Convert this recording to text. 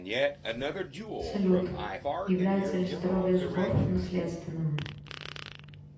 салют является ли здоровье зубов наследственным